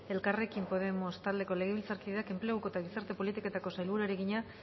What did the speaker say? suárez elkarrekin podemos taldeko legebiltzarkideak enpleguko eta gizarte politiketako sailburuari egina